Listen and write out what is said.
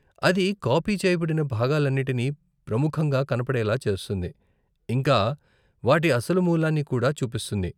అది కాపీ చేయబడిన భాగాలన్నిటినీ ప్రముఖంగా కనపడేలా చేస్తుంది, ఇంకా వాటి అసలు మూలాన్ని కూడా చూపిస్తుంది.